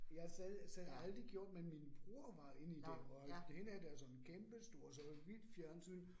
Jeg har selv selv aldrig gjort, men min bror var inde i det, og derhenne er der sådan kæmpestort sort hvidt fjernsyn